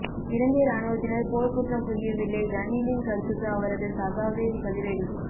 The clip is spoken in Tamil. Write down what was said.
இலங்கை இராணுவத்தினர் போர்க்குற்றம் புரியவில்லை ரணிலின் கருத்துக்கு அவரது சகாவே பதிலடி